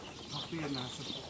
Hə, yerdə nəsə.